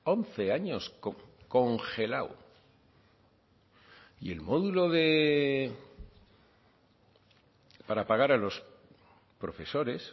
once años congelado y el módulo para pagar a los profesores